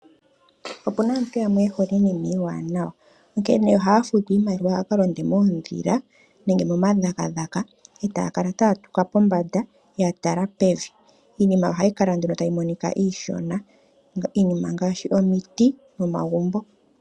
Opuna aantu yamwe ye hole iinima iiwanawa , onkene ohaya futu iimaliwa yakalonde moondhila nenge momadhagadhaga etaya kala taya tuka pombanda yatala pevi. Iinima ohayi kala nduno tayi monika iishona. Iinima ongaashi omiti nomagumbo .